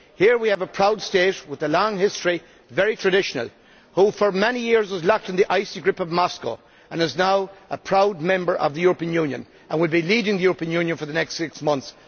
Here, we have a proud state with a long history very traditional that for many years was locked in the icy grip of Moscow and is now a proud member of the European Union and will be leading the European Union for the next six months.